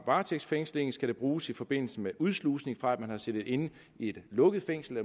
varetægtsfængsling skal den bruges i forbindelse med udslusning fra at man har siddet inde i et lukket fængsel